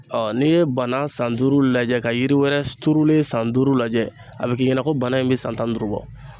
n'i ye bana san duuru lajɛ ka yiri wɛrɛ turulen san duuru lajɛ, a be k'i ɲɛna ko bana in bɛ san tan ni duuru bɔ.